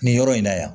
Nin yɔrɔ in na yan